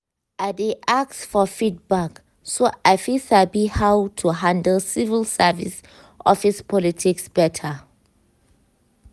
i dey ask for feedback so i fit sabi how to handle civil service office politics better.